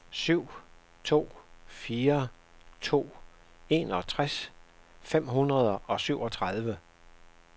syv to fire to enogtres fem hundrede og syvogtredive